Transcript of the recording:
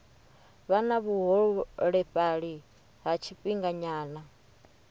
vha na vhuholefhali ha tshifhinganyana